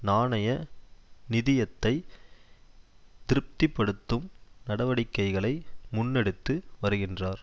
நாணய நிதியத்தை திருப்தி படுத்தும் நடவடிக்கைகளை முன்னெடுத்து வருகின்றார்